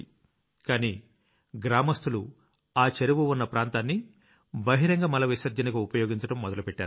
కానీ గ్రామస్తులు ఆ చెరువు ఉన్న ప్రాంతాన్ని బహిరంగ మల విసర్జనకు ఉపయోగించడం మొదలుపెట్టారు